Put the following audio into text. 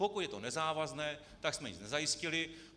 Pokud je to nezávazné, tak jsme nic nezajistili.